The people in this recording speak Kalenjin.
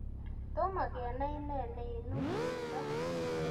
Toma kenai ne neinu miondo